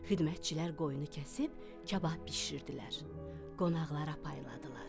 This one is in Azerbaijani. Xidmətçilər qoyunu kəsib kabab bişirdilər, qonaqlara payladılar.